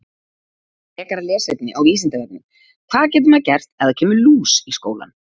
Frekara lesefni á Vísindavefnum: Hvað getur maður gert ef það kemur lús í skólann?